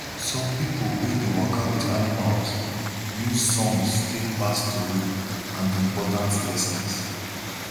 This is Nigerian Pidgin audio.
some pipo wey dey waka with animals use songs take pass tori and important lessons